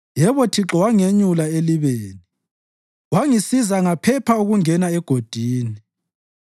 Yebo Thixo wangenyula elibeni, wangisiza ngaphepha ukungena egodini.